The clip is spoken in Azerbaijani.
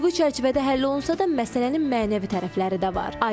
Hüquqi çərçivədə həll olunsa da, məsələnin mənəvi tərəfləri də var.